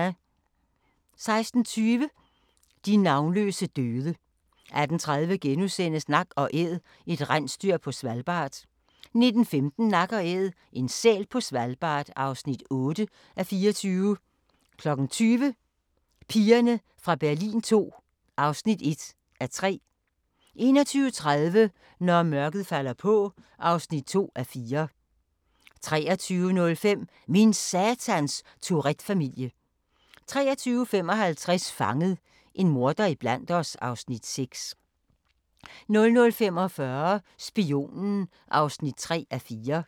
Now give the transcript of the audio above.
16:20: De navnløse døde 18:30: Nak & Æd – et rensdyr på Svalbard (7:24)* 19:15: Nak & Æd – en sæl på Svalbard (8:24) 20:00: Pigerne fra Berlin II (1:3) 21:30: Når mørket falder på (2:4) 23:05: Min satans Tourette-familie 23:55: Fanget – en morder iblandt os (Afs. 6) 00:45: Spionen (3:4)